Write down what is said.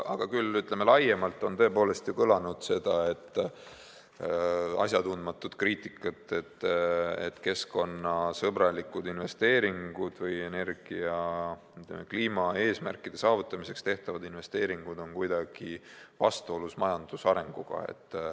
Aga laiemalt on tõepoolest kõlanud asjatundmatut kriitikat, et keskkonnasõbralikud investeeringud või energia kliimaeesmärkide saavutamiseks tehtavad investeeringud on kuidagi vastuolus majandusarenguga.